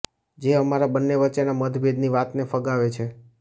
જે અમારા બન્ને વચ્ચેના મતભેદની વાતને ફગાવે છે